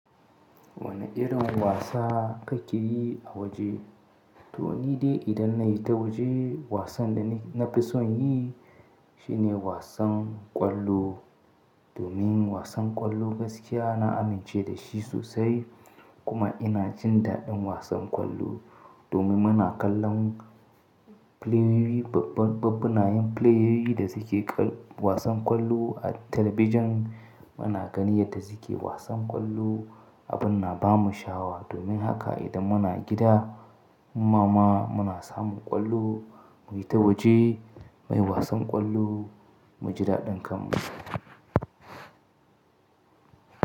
Wane irin wasa ka yi a waje? To ni dai idan na hi ta waje wasan da na fi son yi shine wasan ƙwallo. Domin wasan ƙwallo gaskiya na amince da shi sosai kuma ina jin daɗin wasan ƙwallo. Domin muna kallon pleyoyi, ɓabbunan pleyoyi da suke ƙar wasan ƙwallo a talabijin. Muna gani yadda suke wasan ƙwallo abin na ba mu shawa. Domin haka idan muna gida, mama muna samu ƙwallo mu yi ta waje, muyi wasan ƙwallo, mu ji daɗin kanmu.